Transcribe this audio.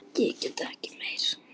Ég get ekki meira.